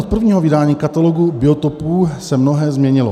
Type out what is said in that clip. Od prvního vydání Katalogu biotopů se mnohé změnilo."